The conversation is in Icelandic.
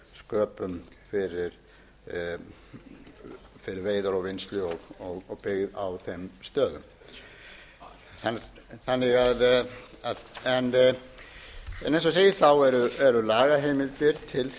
skipta oft sköpum fyrir veiðar og vinnslu og byggð á þeim stöðum eins og ég segi eru lagaheimildir til þess að eru lagaheimildir ekki fær bendi til